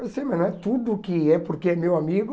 Eu sei, mas não é tudo que é porque é meu amigo...